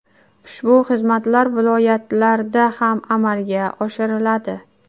Ushbu xizmatlar viloyatlarda ham amalga oshiriladi”.